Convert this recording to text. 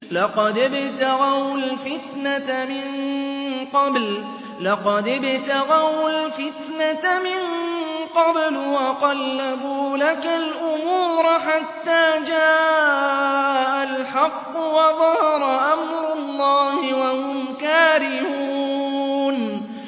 لَقَدِ ابْتَغَوُا الْفِتْنَةَ مِن قَبْلُ وَقَلَّبُوا لَكَ الْأُمُورَ حَتَّىٰ جَاءَ الْحَقُّ وَظَهَرَ أَمْرُ اللَّهِ وَهُمْ كَارِهُونَ